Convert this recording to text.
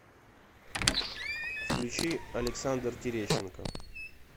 включи александр терещенко